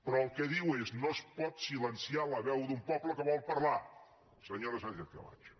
però el que diu és no es pot silenciar la veu d’un poble que vol parlar senyora sánchezcamacho